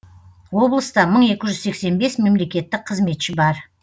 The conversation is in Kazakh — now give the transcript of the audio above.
облыста мың екі жүз сексен бес мемлекеттік қызметші бар